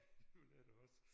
Det vil jeg da også